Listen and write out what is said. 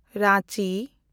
Ranchi